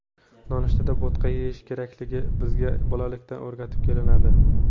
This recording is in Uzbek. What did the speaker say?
Nonushtada bo‘tqa yeyish kerakligi bizga bolalikdan o‘rgatib kelinadi.